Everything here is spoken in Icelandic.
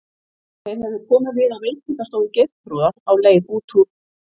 Þeir höfðu komið við á veitingastofu Geirþrúðar á leið út úr